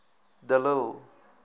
de lille